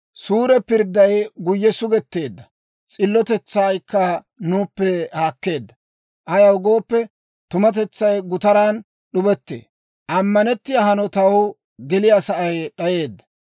Suure pirdday guyye sugetteedda; s'illotetsaykka nuuppe haakkeedda; ayaw gooppe, tumatetsay gutaran d'ubettee; ammanettiyaa hanotaw geliyaa sa'ay d'ayeedda.